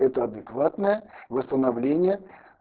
это адекватная восстановление